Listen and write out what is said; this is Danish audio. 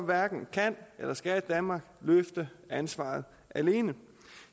hverken kan eller skal danmark løfte ansvaret alene